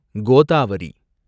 Godavari